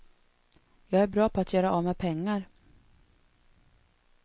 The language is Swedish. Jag är bra på att göra av med pengar.